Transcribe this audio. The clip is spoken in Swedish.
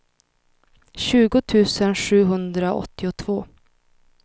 tjugo tusen sjuhundraåttiotvå